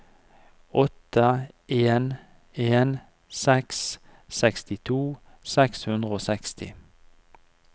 åtte en en seks sekstito seks hundre og seksti